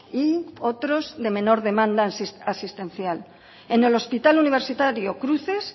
y otros de menor demanda asistencial en el hospital universitario cruces